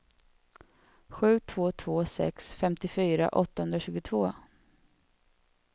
sju två två sex femtiofyra åttahundratjugotvå